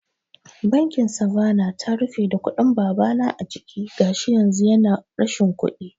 Bankin Savanna ta rufe da kuɗin babana a ciki, gashi yanzu yana rashin kuɗi